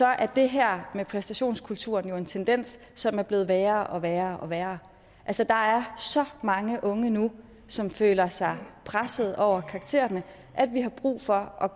er det her med præstationskulturen jo en tendens som er blevet værre og værre og værre altså der er så mange unge nu som føler sig pressede over karaktererne at vi har brug for at